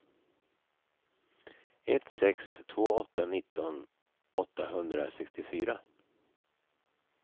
ett sex två åtta nitton åttahundrasextiofyra